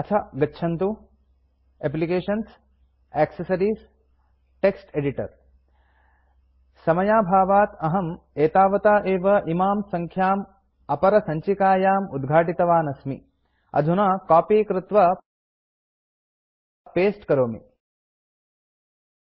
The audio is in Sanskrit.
अथ गच्छन्तु एप्लिकेशन्सग्टेसेस्टेक्टेक्टेक्टेक्टेक्स्टेटेक्टेक्स्टेक्स्टेक्टेक्टेक्टेक्टेक्टेक्टेक्स्टेक्टेक्टेक्स्टेस्ट्टेक्टेस्टेक्टेक्टेक्टेस्ट्टेक्टेक्ट्ट्टेक्टेस्टेक्टेक्ट्टेक्टेक्टेस्टेक्टेक्टेक्ट्टेक्टेक्ट एडिटर समयाभावात् अहं एतावता एव इमां सङ्ख्याम् अपरसञ्चिकायाम् उद्घाटितवान् अस्मि